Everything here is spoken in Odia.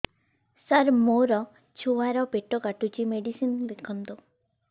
ସାର ମୋର ଛୁଆ ର ପେଟ କାଟୁଚି ମେଡିସିନ ଲେଖନ୍ତୁ